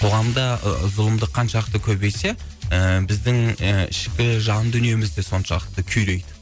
қоғамда зұлымдық қаншалықты көбейсе і біздің і ішкі жан дүниеміз де соншалықты күйрейді